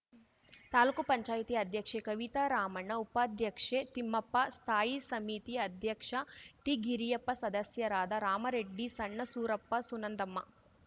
ತಾಲೂಕು ಪಂಚಾಯತಿ ಅಧ್ಯಕ್ಷೆ ಕವಿತಾ ರಾಮಣ್ಣ ಉಪಾಧ್ಯಕ್ಷೆ ತಿಪ್ಪಮ್ಮ ಸ್ಥಾಯಿ ಸಮಿತಿ ಅಧ್ಯಕ್ಷ ಟಿಗಿರಿಯಪ್ಪ ಸದಸ್ಯರಾದ ರಾಮರೆಡ್ಡಿ ಸಣ್ಣ ಸೂರಪ್ಪ ಸುನಂದಮ್ಮ